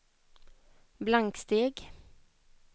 blanksteg